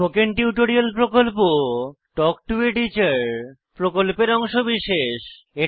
spoken tutorial প্রকল্প talk to a teacher প্রকল্পের অংশবিশেষ